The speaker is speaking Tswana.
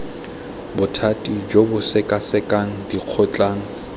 bothati jo bo sekasekang dikgotlang